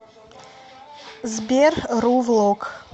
сбер ру влог